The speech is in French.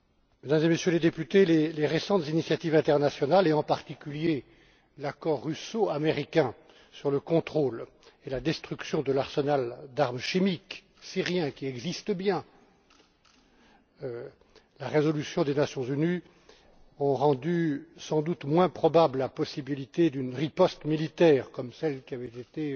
Mesdames et Messieurs, les récentes initiatives internationales et, en particulier, l'accord russo américain sur le contrôle et la destruction de l'arsenal d'armes chimiques syrien, qui existe bien, et la résolution des Nations Unies ont rendu sans doute moins probable la possibilité d'une riposte militaire comme celle qui avait été